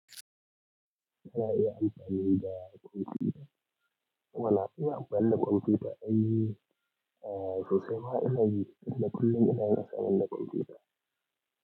Ana iya amfani da kwamfuta, eh mana ina amfani da kwamfuta, ai sosai ma ina yi, tunda kullum ina yin assignment da kwamfuta.